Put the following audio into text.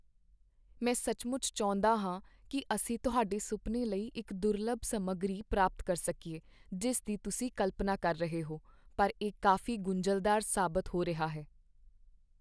ਮੈਂ ਸੱਚਮੁੱਚ ਚਾਹੁੰਦਾ ਹਾਂ ਕਿ ਅਸੀਂ ਤੁਹਾਡੇ ਸੁਪਨੇ ਲਈ ਉਹ ਦੁਰਲੱਭ ਸਮੱਗਰੀ ਪ੍ਰਾਪਤ ਕਰ ਸਕੀਏ ਜਿਸ ਦੀ ਤੁਸੀਂ ਕਲਪਨਾ ਕਰ ਰਹੇ ਹੋ, ਪਰ ਇਹ ਕਾਫ਼ੀ ਗੁੰਝਲਦਾਰ ਸਾਬਤ ਹੋ ਰਿਹਾ ਹੈ।